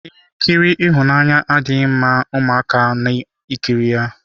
Ihe nkiri ịhụnanya adịghị mma ụmụaka na ekiri ya.